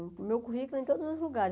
O meu currículo em todos os lugares.